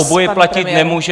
Obojí platit nemůže.